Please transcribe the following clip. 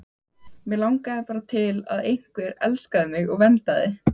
Mig langaði bara til að einhver elskaði mig og verndaði.